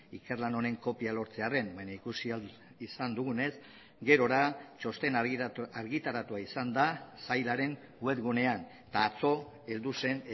ikerlan honen kopia lortzearren baina ikusi ahal izan dugunez gerora txostena argitaratua izan da sailaren web gunean eta atzo heldu zen